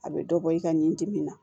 A bɛ dɔ bɔ i ka nin dimi na